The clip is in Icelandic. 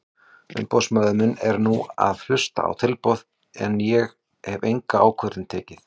Umboðsmaður minn er nú að hlusta á tilboð en ég hef enga ákvörðun tekið.